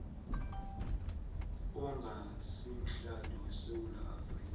ongasimhlali wesewula afrika